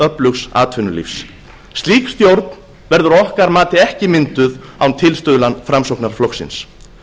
öflugs atvinnulífs slík stjórn verður að okkar mati ekki mynduð án tilstuðlunar framsóknarflokksins